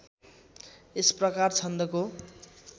यस प्रकार छन्दको